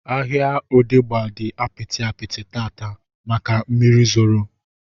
Ahịa Odegba dị apịtị apịtị taata maka mmiri zoro